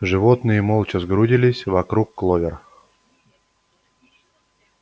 животные молча сгрудились вокруг кловер